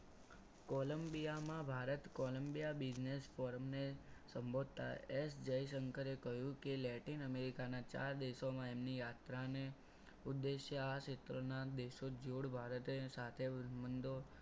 કોલંબિયામાં Bharat Colombia business ફોરમને સંબોધતા S જયશંકરે કહ્યું કે લેટિન અમેરિકામાં એમના ચાર દેશોની યાત્રાને ઉદ્દેશ્યના ક્ષેત્રમાં દેશોના જોડ ભારતે સાથે મંદો